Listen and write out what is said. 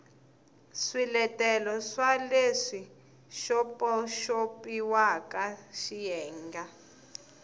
swiletelo swa leswi xopaxopiwaka xiyenge